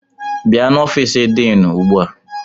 Bịa n'ofiisi diinu ugbu a!